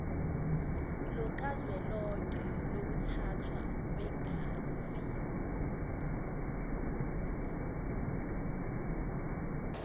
lukazwelonke lokuthathwa kwegazi